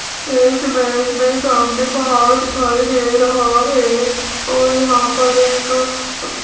इस इमेज में सामने पहाड़ दिखाई दे रहा है और यहां पर एक --